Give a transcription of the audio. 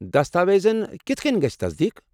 دستاویزن کتھہٕ کٔنۍ گژھِ تصدیٖق؟